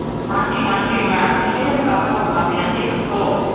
ਹਾਂਜੀ ਹਾਂਜੀ madam ਨੀ ਜੀ ਮੈਂ sir ਬੋਲਦਾ ਪਿਆ ਜੀ ਦੱਸੋ।